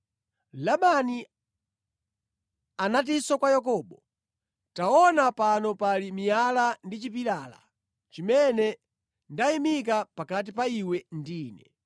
Labani anatinso kwa Yakobo, “Taona pano pali miyala ndi chipilala chimene ndayimika pakati pa iwe ndi ine.